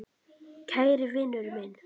Kæri vinur minn.